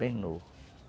Bem novo.